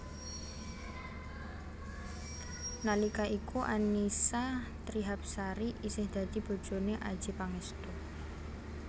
Nalika iku Annisa Trihapsari isih dadi bojoné Adjie Pangestu